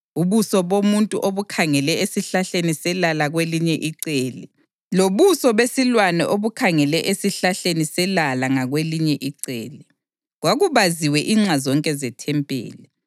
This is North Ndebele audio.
ubuso bomuntu obukhangele esihlahleni selala kwelinye icele, lobuso besilwane obukhangele esihlahleni selala ngakwelinye icele. Kwakubaziwe inxa zonke zethempeli.